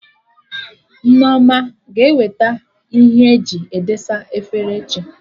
Nneoma a ga-eweta Ihe eji edesa efere echi?